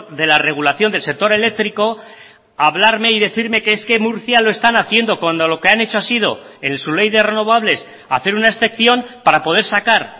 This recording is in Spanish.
de la regulación del sector eléctrico hablarme y decirme que es que murcia lo están haciendo cuando lo que han hecho ha sido en su ley de renovables hacer una excepción para poder sacar